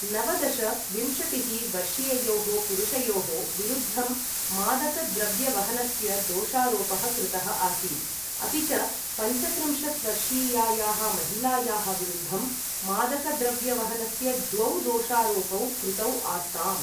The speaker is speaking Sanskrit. नवदश, विंशतिः वर्षीययोः पुरुषयोः विरुद्धं मादकद्रव्यवहनस्य दोषारोपः कृतः आसीत्, अपि च पञ्चत्रिंशत् वर्षीयायाः महिलायाः विरुद्धं मादकद्रव्यवहनस्य द्वौ दोषारोपौ कृतौ आस्ताम्।